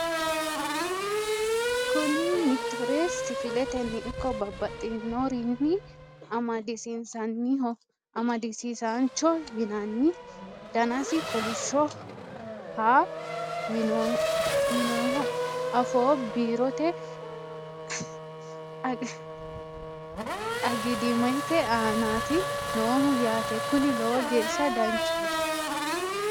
Kuni mitore sifiletenni ikko babaxinoirnni amadisiinsanniho amadisiisaancho yinannani danasi kolishoho ha'ha yiinoho afoo biirote agidaamete aanaati noohu yaate kuni lowo geeshsha danchaho